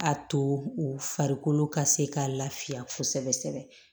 A to u farikolo ka se ka lafiya kosɛbɛ sɛbɛ